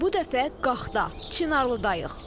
Bu dəfə Qaxda, Çınarlıda.